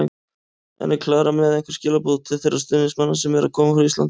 En er Klara með einhver skilaboð til þeirra stuðningsmanna sem eru að koma frá Íslandi?